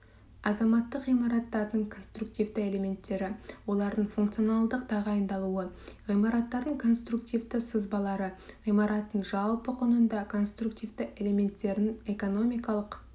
азаматтық ғимараттардың конструктивті элементтері олардың функционалдық тағайындалуы ғимараттардың конструктивті сызбалары ғимараттың жалпы құнында конструктивті элементтерінің экономикалық